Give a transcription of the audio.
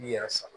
N'i yɛrɛ sara